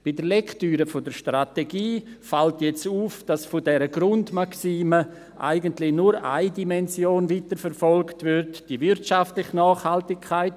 Bei der Lektüre der Strategie fällt jetzt auf, dass von dieser Grundmaxime eigentlich nur eine Dimension weiterverfolgt wird, nämlich die wirtschaftliche Nachhaltigkeit.